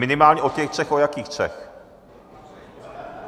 Minimálně o těch třech - o jakých třech?